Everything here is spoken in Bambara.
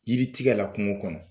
Yiri tigɛ la kungo kɔnɔ